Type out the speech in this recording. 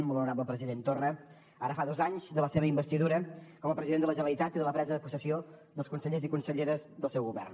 molt honorable president torra ara fa dos anys de la seva investidura com a president de la generalitat i de la presa de possessió dels consellers i conselleres del seu govern